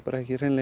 hreinlega